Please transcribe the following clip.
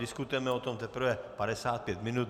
Diskutujeme o tom teprve 55 minut.